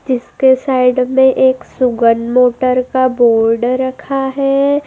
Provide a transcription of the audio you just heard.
इसके साइड में एक सुगन मोटर का बोर्ड रखा है।